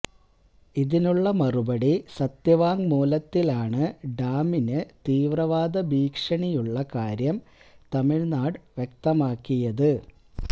ഇതിനുള്ള മറുപടി സത്യവാങ്മൂലത്തിലാണ് ഡാമിന് തീവ്രവാദ ഭീഷണിയുള്ള കാര്യം തമിഴ്നാട് വ്യക്തമാക്കിയത്